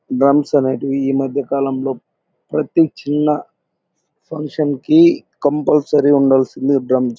drums అనేటివి ఇ మధ్యకాలం లో ప్రతి చిన్న ఫంక్షన్ కి కంపుల్సార్య్ ఉండాల్సిందే ఇ డ్రమ్స్ --